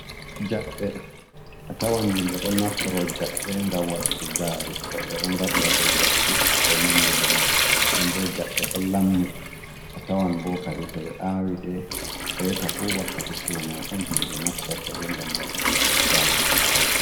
Jaɓɓe, a tawan himbe don naftorto jabɓe gam waɗuki gari woɓe don ngadi yade lekki e ko nandi benon don bo jabbe don lammi a tawan bo kadi to be awi de reta fu wakkati sumai on himɓe naftortode ngam waɗuki gari sumtago.